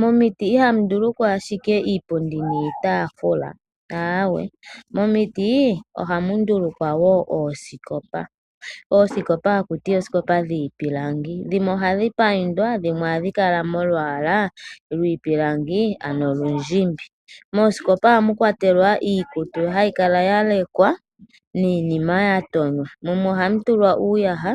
Momiti ihamu ndulukwa ashike iipundi niitaafula, awee, momiti ohamu ndulukwa wo oosikopa. Oosikopa haku ti oosikopa dhiipilangi, dhimwe ohadhi paindwa , dhimwe ohadhi kala molwaala lwiipilangi ano olundjimbi. Moosikopa ohamu kwatelwa iikutu hayi kala ya lekwa niinima ya tonywa, mumwe ohamu tulwa uuyaha